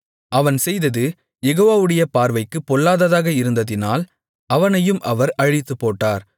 அவன் செய்தது யெகோவாவுடைய பார்வைக்குப் பொல்லாததாக இருந்ததினால் அவனையும் அவர் அழித்துப்போட்டார்